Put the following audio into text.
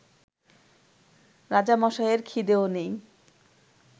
রাজামশাইয়ের খিদেও নেই